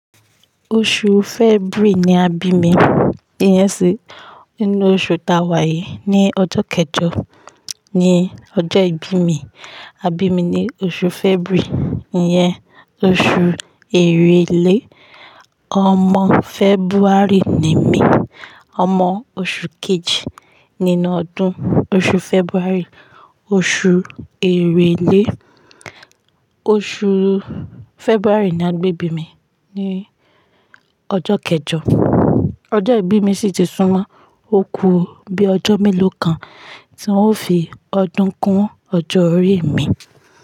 Oṣù February ni a bí mi. Iyẹn sì nínú oṣù ta wà yìí. Ni ọjọ́ kẹjọ ni ọjọ́ ìbí mi. A bí mi ní oṣù February, ìyẹn oṣù èrèlé. Ọmọ February ni mí. Ọmọ oṣù kejì nínú ọdún. Oṣù February, oṣù èrèlé. Oṣù February ni a gbé bí mi, ní ọjọ́ kẹjọ. Ọjọ́ ìbí mi sì ti súnmọ́ òkú bí i ọjọ́ mélòó kan tí n ó fi ọdún kún ọjọ́ orí mi.